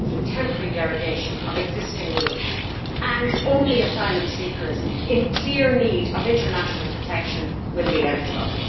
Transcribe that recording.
It is a temporary derogation from existing rules, and only asylum seekers in clear need of international protection will be eligible.